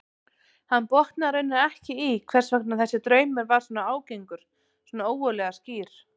Hann botnaði raunar ekki í hvers vegna þessi draumur var svona ágengur, svona ógurlega skýr.